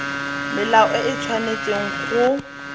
melao e e tshwanetseng go